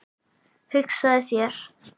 Hugsaðu þér!